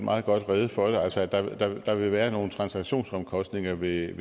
meget godt rede for det altså at der vil være nogle transaktionsomkostninger ved